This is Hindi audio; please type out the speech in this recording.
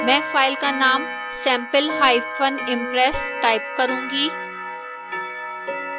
मैं फाइन का name sampleimpress type करूंगी